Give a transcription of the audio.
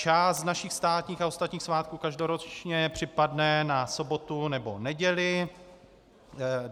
Část našich státních a ostatních svátků každoročně připadne na sobotu nebo neděli.